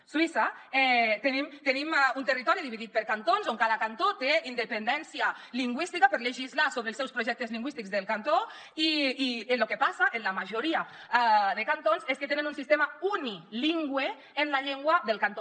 a suïssa tenim un territori dividit per cantons on cada cantó té independència lingüística per legislar sobre els seus projectes lingüístics del cantó i el que passa en la majoria de cantons és que tenen un sistema unilingüe en la llengua del cantó